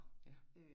Ja